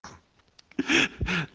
две